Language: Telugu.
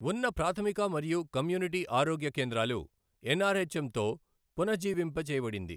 వున్న ప్రాథమిక మరియు కమ్యూనిటీ ఆరోగ్య కేంద్రాలు ఎన్ఆర్ఎచ్ఎం తో పునజీవింప జేయబడింది.